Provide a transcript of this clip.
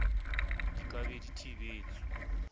di ka be di thibetswe